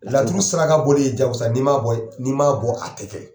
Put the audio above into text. Laturu saraka boli ye jagosa n'i man bɔ n'i man bɔ a tɛ kɛ.